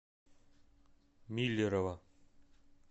миллерово